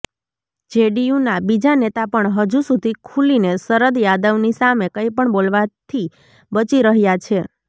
જેડીયુના બીજા નેતા પણ હજુ સુધી ખૂલીને શરદ યાદવની સામે કંઇપણ બોલવાથી બચી રહ્યાં છે